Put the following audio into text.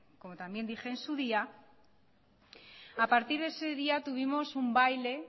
como también dije en su día a partir de ese día tuvimos un baile